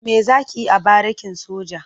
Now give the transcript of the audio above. Me za ki yi a barikin soja?